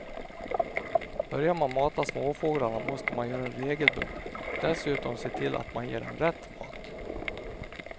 Börjar man mata småfåglarna måste man göra det regelbundet och dessutom se till att man ger dem rätt mat.